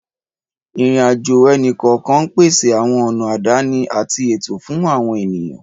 Ìrìn-àjò ẹnì kọ̀ọ̀kan ń pèsè àwọn ọ̀nà àdáni àti ètò fún àwọn ènìyàn.